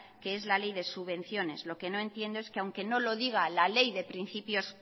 que es la ley de subvenciones lo que no entiendo es que aunque no lo diga la ley de principios